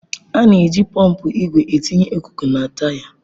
A na-eji pọmpụ igwe etinye ikuku na taya.